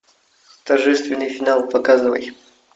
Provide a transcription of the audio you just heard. торжественный финал показывай